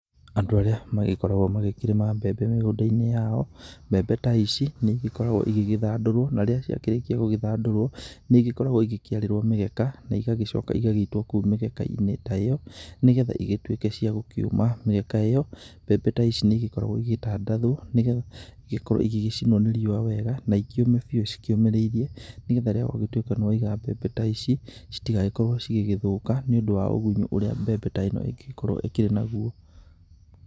Andũ arĩa magĩkoragwo magĩkĩrĩma mbembe mĩgũnda-inĩ yao mbembe ta ici nĩ igĩkoragwo igĩgĩthandũrwo. Na rĩrĩa ciakĩrĩkia gũgĩthandũrwo nĩ ikoragwo ikĩarĩrwo mĩgeka na igagĩcoka igagĩitwo kũu mĩgeka-inĩ ta ĩyo nĩ getha igĩtuĩke cia gũkĩũma. Mĩgeka ta ĩyo mbembe ici nĩ igĩkoragwo igĩtandathwo nĩ getha igĩkorwo igigĩcinwo nĩ riũa wega na ikĩũme biu cikĩũmĩrĩirie. Nĩ getha rĩrĩa watua nĩ waiga mbembe ta ici citigagĩkorwo igĩgĩthũka nĩ ũndũ wa ũgunyu ũrĩa mbembe ta ĩno ĩngĩgĩkorwo ĩkĩrĩ naguo.